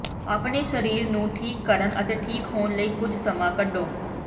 ਆਪਣੇ ਸਰੀਰ ਨੂੰ ਠੀਕ ਕਰਨ ਅਤੇ ਠੀਕ ਹੋਣ ਲਈ ਕੁਝ ਸਮਾਂ ਕੱਢੋ